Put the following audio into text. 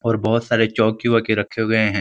और बोहोत सारे चौकी वॉकी रखे हुए हैं।